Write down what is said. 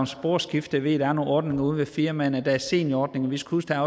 sporskifte ved at der er nogle ordninger ude i firmaerne der er seniorordninger vi skal huske at